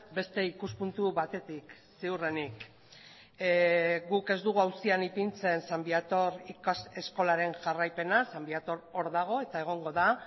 beste ikuspuntu batetik ziurrenik guk ez dugu auzia ipintzen san viator ikas eskolaren jarraipena san viator hor dago eta egongo da